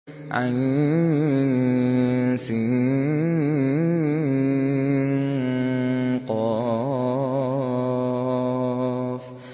عسق